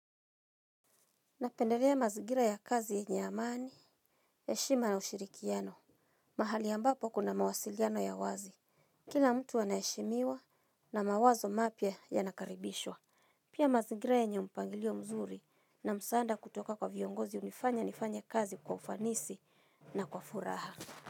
Napendelea mazigira ya kazi yenye amani, heshima na ushirikiano. Mahali ambapo kuna mawasiliano ya wazi. Kila mtu ana heshimiwa na mawazo mapya yanakaribishwa. Pia mazigira yenye mpangilio mzuri na msaanda kutoka kwa viongozi hunifanya nifanye kazi kwa ufanisi na kwa furaha.